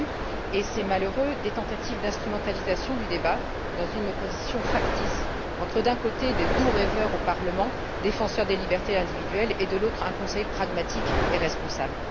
Il y a eu et c'est malheureux des tentatives d'instrumentalisation du débat, dans une opposition factice entre, d'un côté, de doux rêveurs au Parlement, défenseurs des libertés individuelles et, de l'autre, un Conseil pragmatique et responsable.